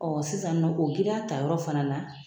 sisanɔ o giriya tayɔrɔ fana na.